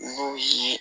N'o ye